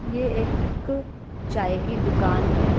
ये एक चाय की दुकान है।